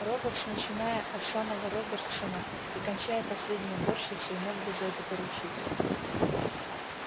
роботс начиная от самого робертсона и кончая последней уборщицей мог бы за это поручиться